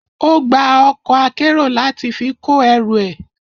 Ó gba ọkọ̀ akérò láti fi kó ẹrù ẹ.